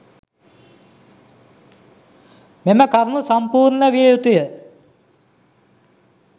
මෙම කරුණු සම්පූර්ණ විය යුතුය.